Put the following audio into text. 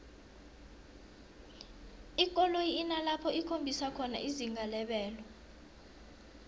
ikoloyi inalapho ikhombisa khona izinga lebelo